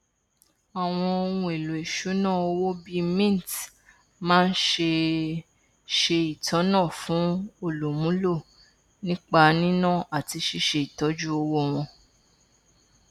àwọn ohunèlò ìṣúná owó bíi mint máa ń ṣe ṣe ìtọnà fún olùmúlò nípa níná àti ṣíṣé ìtọjú owó wọn